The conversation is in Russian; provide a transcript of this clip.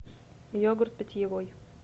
йогурт питьевой